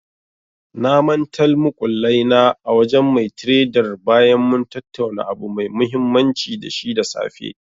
Na mantal muƙullai na a wajen mai tredar bayan mun tattauna abu mai mahimmanci da shi da safe.